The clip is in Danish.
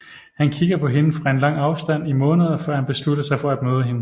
Han kigger på hende fra en lang afstand i månder før han beslutter sig for at møde hende